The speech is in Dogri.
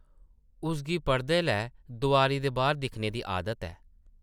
उसगी पढ़दे’लै दोआरी दे बाह्र दिक्खने दी आदत ऐ ।